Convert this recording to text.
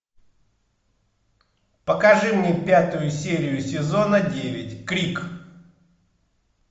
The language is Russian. покажи мне пятую серию сезона девять крик